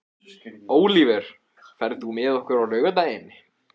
Ólíver, ferð þú með okkur á laugardaginn?